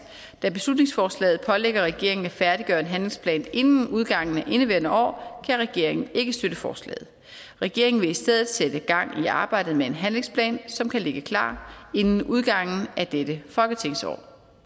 da beslutningsforslaget pålægger regeringen at færdiggøre en handlingsplan inden udgangen af indeværende år kan regeringen ikke støtte forslaget regeringen vil i stedet sætte gang i arbejdet med en handlingsplan som kan ligge klar inden udgangen af dette folketingsår